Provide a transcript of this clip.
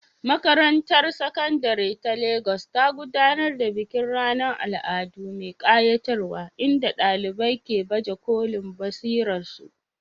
Makarantar Sakandare ta Legas ta gudanar da bikin ranar al'adu mai ƙayatarwa inda ɗalibai ke baje kolin basirarsu.